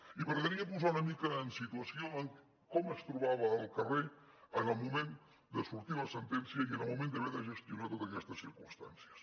i m’agradaria posar una mica en situació de com es trobava el carrer en el moment de sortir la sentència i en el moment d’haver de gestionar totes aquestes circumstàncies